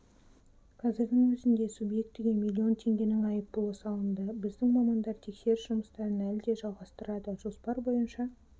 қазірдің өзінде субъектіге млн теңгенің айыппұлы салынды біздің мамандар тексеріс жұмыстарын әлі де жалғастырады жоспар бойынша